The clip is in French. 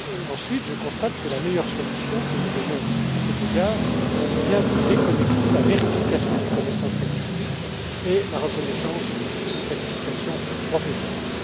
ensuite, je constate que la meilleure solution que nous ayons à cet égard est bien de déconnecter la vérification des connaissances linguistiques et la reconnaissance des qualifications professionnelles.